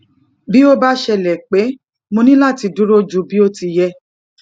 bí ó bá ṣẹlè pé mo ní láti dúró ju bi o ti ye